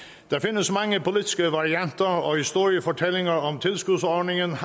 der findes mange politiske varianter og historiefortællinger om tilskudsordningen